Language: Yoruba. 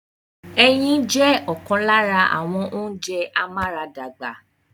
Ẹyin jẹ́ ọ̀kan lára àwọn ounjẹ amúaradàgbà